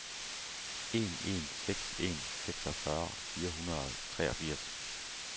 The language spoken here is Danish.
en en seks en seksogfyrre fire hundrede og treogfirs